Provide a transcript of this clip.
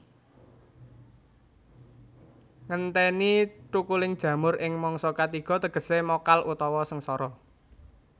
Ngentèni thukuling jamur ing mangsa katiga tegesé mokal utawa sengara